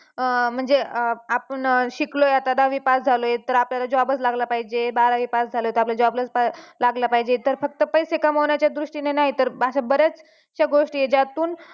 अं म्हणजे आपण शिकलोय आता दहावी pass झालोय तर आपल्याला job चं लागला पाहिजे बारावी pass झालोय तर आपल्याला job लाच लागलं पाहिजे तर फक्त पैसे कामावण्याच्या दृष्टीने नाही तर अश्या बऱ्याचशा गोष्टी आहेत ज्यातून